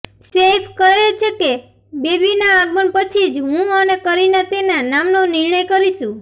સૈફ કહે છે કે બેબીના આગમન પછી જ હું અને કરીના તેના નામનો નિર્ણય કરીશું